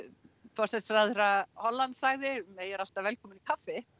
forsætisráðherra Hollands sagði May er alltaf velkomin í kaffi